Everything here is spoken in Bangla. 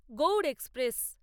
গৌড় এক্সপ্রেস